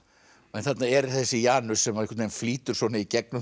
en þarna er þessi Janus sem einhvern veginn flýtur í gegnum